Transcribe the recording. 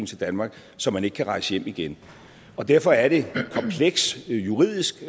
til danmark så man ikke kan rejse hjem igen derfor er det komplekst juridisk